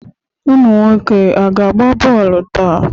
Ụmụ nwoke aga agba bọọlụ taa?